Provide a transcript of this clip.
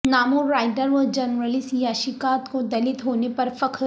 نامور رائٹر و جرنلسٹ یاشیکادت کو دلت ہونے پر فخر